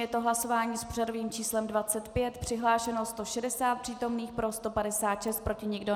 Je to hlasování s pořadovým číslem 25. Přihlášeno 160 přítomných, pro 156, proti nikdo.